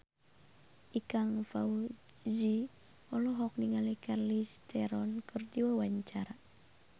Ikang Fawzi olohok ningali Charlize Theron keur diwawancara